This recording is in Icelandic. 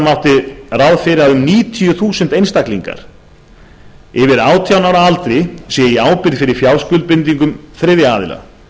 mátti ráð fyrir að um níutíu þúsund einstaklingar yfir átján ára aldri séu í ábyrgð fyrir fjárskuldbindingum þriðja aðila